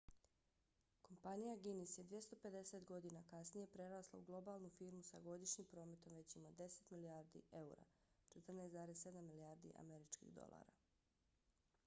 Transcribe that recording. kompanija guinness je 250 godina kasnije prerasla u globalnu firmu sa godišnjim prometom većim od 10 milijardi eura 14,7 milijardi američkih dolara